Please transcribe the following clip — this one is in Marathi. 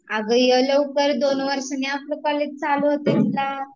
अगं ये लवकर, दोन वर्षांनी आपलं कॉलेज चालू होतंय ना